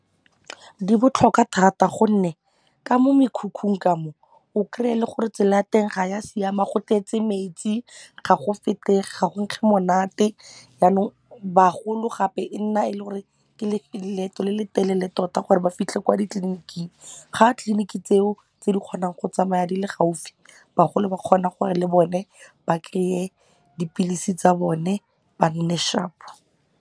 Di botlhokwa thata gonne ka mo mekhukhung kamo o kry-e e le gore tsela ya teng ga ya siama go tletse metsi ga go fetege, ga go nkge monate yanong bagolo gape e nna e le gore ke leeto le le telele tota gore ba fitlhe kwa ditleliniking ga tliliniki tseo tse di kgonang go tsamaya di le gaufi bagolo ba kgona gore le bone ba kry-e dipilisi tsa bone ba nne sharp.